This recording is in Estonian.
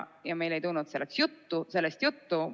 Ja meil ei tulnud sellest juttu.